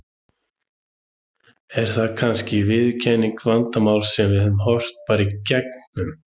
Er það kannski viðurkennt vandamál sem við horfum bara í gegnum?